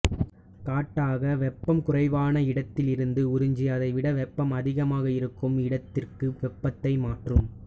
காட்டாக வெப்பம் குறைவான இடத்தில் இருந்து உறிஞ்சி அதைவிட வெப்பம் அதிகமாக இருக்கும் இடத்திற்கு வெப்பத்தை மாற்றும்